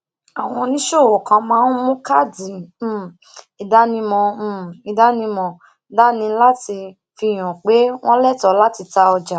àwọn oníṣòwò kan máa ń mu káàdì um ìdánimọ um ìdánimọ dání láti fi hàn pé wọn létòó láti ta ọjà